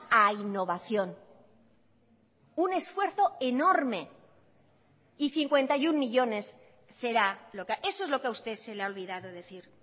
a innovación un esfuerzo enorme y cincuenta y uno millónes será lo que eso es lo que a usted se le ha olvidado decir